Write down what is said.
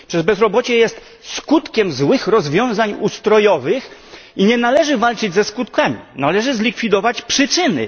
Bezrobocie jest skutkiem złych rozwiązań ustrojowych i nie należy walczyć ze skutkami, należy zlikwidować przyczyny.